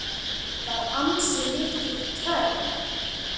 Þetta var ansi mikil törn.